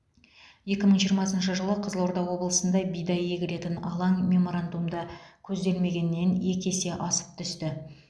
екі мың жиырмасыншы жылы қызылорда облысында бидай егілетін алаң меморандумда көзделмегеннен екі есе асып түсті